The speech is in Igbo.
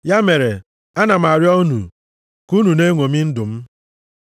Ya mere, ana arịọ m unu, ka unu na-eṅomi ndụ m.